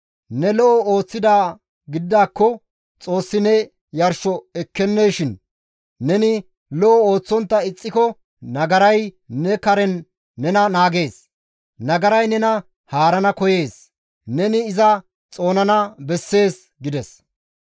Ne lo7o ooththidaa gididaakko Xoossi ne yarsho ekkenneeshin? Neni lo7o ooththontta ixxiko nagaray ne karen nena naagees; nagaray nena haarana koyees; neni iza xoonana bessees» gides.